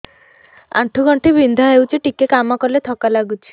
ଆଣ୍ଠୁ ଗଣ୍ଠି ବିନ୍ଧା ହେଉଛି ଟିକେ କାମ କଲେ ଥକ୍କା ଲାଗୁଚି